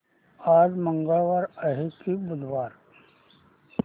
आज मंगळवार आहे की बुधवार